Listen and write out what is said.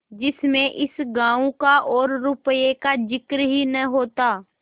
जिसमें इस गॉँव का और रुपये का जिक्र ही न होता